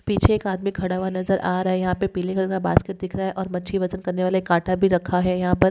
पीछे एक आदमी खड़ा हुआ नजर आ रहा है यहा पे पीले कलर का बास्केट दिख रहा है और मच्छी वजन करनेवाले काटा भी रखा है यहा पर--